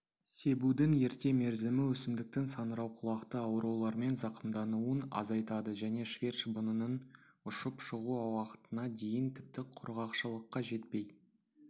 себудің ерте мерзімі өсімдіктің саңырауқұлақты аурулармен зақымдануын азайтады және швед шыбынының ұшып шығу уақытына дейін тіпті құрғақшылыққа жетпей